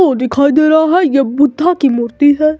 वो दिखाई दे रहा हैं ये बुद्धा की मूर्ति हैं।